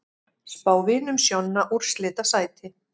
Spá Vinum Sjonna úrslitasæti